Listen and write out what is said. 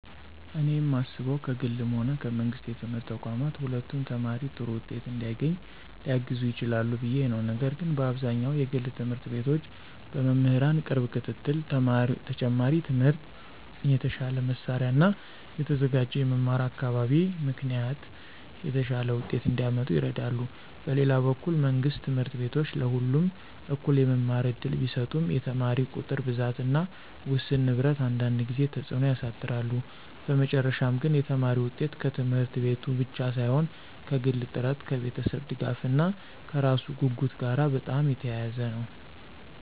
እኔ የማስበው ከግልም ሆነ ከመንግሥት የትምህርት ተቋማት ሁለቱም ተማሪ ጥሩ ውጤት እንዲያገኝ ሊያግዙ ይችላሉ ብዬ ነው፤ ነገር ግን በአብዛኛው የግል ት/ቤቶች በመምህራን ቅርብ ክትትል፣ ተጨማሪ ትምህርት፣ የተሻለ መሳሪያ እና የተዘጋጀ የመማር አካባቢ ምክንያት የተሻለ ውጤት እንዲያመጡ ይረዳሉ። በሌላ በኩል መንግሥት ት/ቤቶች ለሁሉም እኩል የመማር እድል ቢሰጡም የተማሪ ቁጥር ብዛት እና ውስን ንብረት አንዳንድ ጊዜ ተጽዕኖ ያሳድራሉ። በመጨረሻ ግን የተማሪ ውጤት ከት/ቤቱ ብቻ ሳይሆን ከግል ጥረት፣ ከቤተሰብ ድጋፍ እና ከራሱ ጉጉት ጋር በጣም የተያያዘ ነው።